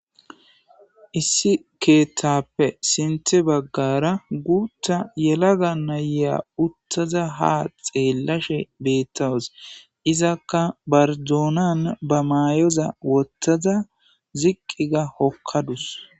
Issi keeththappe sinththa bagara guththa yelaga nayiya uttada ha xelashe betawus izakka ba dunan ba mayoza woththada ziqi ga hokadus